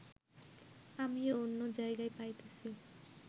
আমিও অন্য জায়গায় পাইতেছি